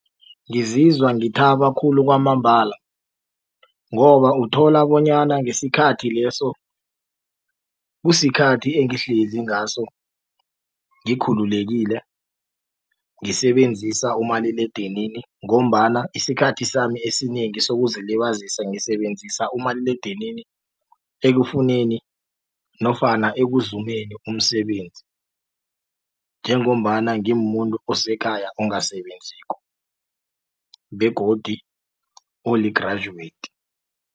Ngizizwa ngithabe khulu kwamambala ngoba uthola bonyana ngesikhathi leso kusikhathi engihlezi ngaso ngikhululekile ngisebenzisa umaliledinini ngombana isikhathi sami esinengi sokuzilibazisa ngisebenzisa umaliledinini ekufuneni nofana ekuzumeni umsebenzi njengombana ngimuntu osekhaya ongasebenziko begodi oli-graduate.